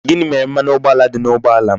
Gini mere mmanụ ụgboala di n'ụgboala m?